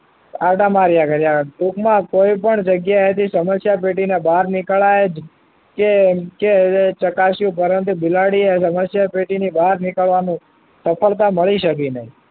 આંટા માર્યા કર્યા ટૂંકમાં કોઈ પણ જગ્યાએથી સમસ્યા પેટી ના બહાર નીકળાય જ નહીં કે કેમ ચકાસ્યો પરંતુ બિલાડીએ સમસ્યા પેટી ની બહાર નીકળવાનું સફળતા મળી શકે નહીં